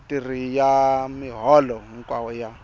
vatirhi ya miholo hinkwayo ya